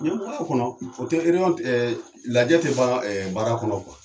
Nin bɛɛ b'a kɔnɔ o tɛ lajɛ tɛ ban baara kɔnɔ kuwa.